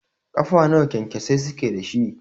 Ƙafa nawa kyankyasai suke dashi?